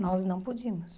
Nós não podíamos.